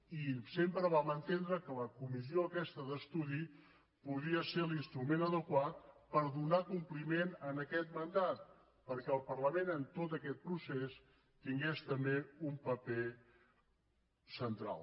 i sempre vam entendre que la comissió aquesta d’estudi podia ser l’instrument adequat per donar compliment a aquest mandat perquè el parlament en tot aquest procés tingués també un paper central